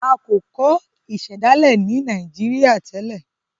a ko kọ ìsèdálè ní Nàìjíríà tèlé.